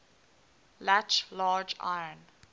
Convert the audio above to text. latch large iron